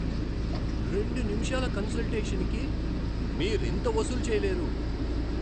రెండు నిముషాల కన్సల్టేషన్కి మీరింత వసూలు చెయ్యలేరు!